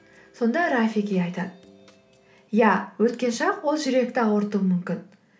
сонда рафики айтады иә өткен шақ ол жүректі ауыртуы мүмкін